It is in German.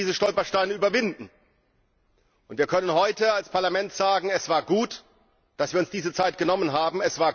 Aber wir konnten diese Stolpersteine überwinden. Wir können heute als Parlament sagen, es war gut, dass wir uns diese Zeit genommen haben.